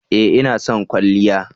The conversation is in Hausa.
Ee! Ina son kwalliya